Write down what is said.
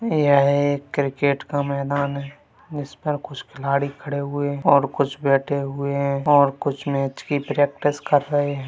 यहा एक क्रिकेट का मैदान है जिस पर कुछ खिलाडी खड़े हुए है और कुछ बैठे हुए है और कुछ मैच की प्रैक्टिस कर रहे है ।